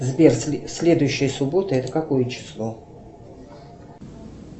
сбер следующая суббота это какое число